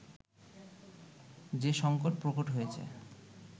যে সংকট প্রকট হয়েছে